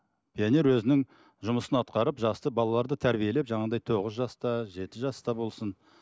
пионер өзінің жұмысын атқарып жақсы балаларды тәрбиелеп жаңағындай тоғыз жаста жеті жаста болсын